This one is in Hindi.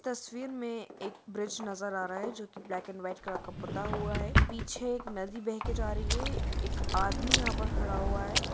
तस्वीर में एक ब्रिज नजर आ रहा है जो को ब्लेक एंड वाईट कलर का पुता हुआ है पीछे एक नदी बेह के जा रही है एक आदमी यहा पर खड़ा हुआ है।